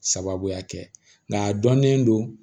Sababuya kɛ nka a dɔnnen don